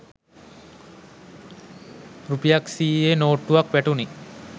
රුපියක් සියයේ නෝට්ටුවක් වැටුනි.